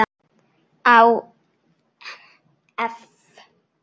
Há eff.